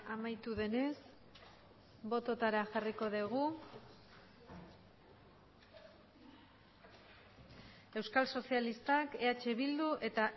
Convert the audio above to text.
amaitu denez bototara jarriko dugu euskal sozialistak eh bildu eta